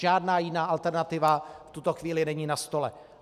Žádná jiná alternativa v tuto chvíli není na stole.